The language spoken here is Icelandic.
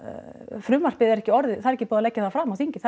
frumvarpið er ekki orðið það er ekki búið að leggja það fram á þingi það